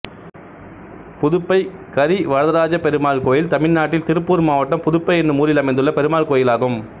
புதுப்பை கரிவரதராஜப்பெருமாள் கோயில் தமிழ்நாட்டில் திருப்பூர் மாவட்டம் புதுப்பை என்னும் ஊரில் அமைந்துள்ள பெருமாள் கோயிலாகும்